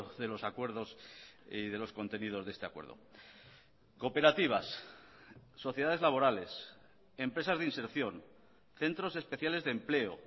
de los acuerdos y de los contenidos de este acuerdo cooperativas sociedades laborales empresas de inserción centros especiales de empleo